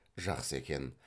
жақсы екен